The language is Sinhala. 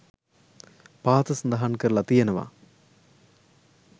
පහත සඳහන් කරලා තියෙනවා.